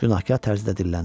Günahkar tərzdə dilləndi.